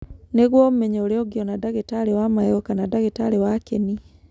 Nĩguo ũmenye ũrĩa ũngĩona ndagĩtarĩ wa magego kana ndagĩtarĩ wa kĩni.